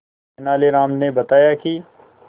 तेनालीराम ने बताया कि